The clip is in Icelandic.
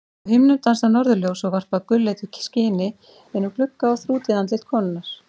Á himnum dansa norðurljós og varpa gulleitu skini inn um glugga á þrútið andlit konunnar.